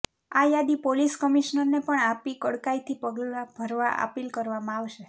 આ યાદી પોલીસ કમિશનરને પણ આપી કડકાઇથી પગલાં ભરવા અપીલ કરવામાં આવશે